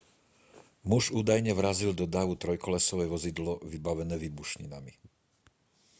muž údajne vrazil do davu trojkolesové vozidlo vybavené výbušninami